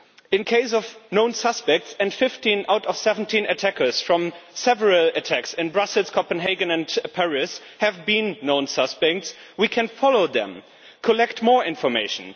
In the case of known suspects and 15 out of 17 attackers from several attacks, in Brussels, Copenhagen and Paris, have been known suspects we can follow them and collect more information.